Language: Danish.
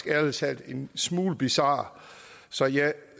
ærlig talt en smule bizar så jeg